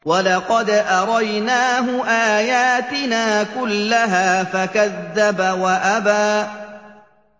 وَلَقَدْ أَرَيْنَاهُ آيَاتِنَا كُلَّهَا فَكَذَّبَ وَأَبَىٰ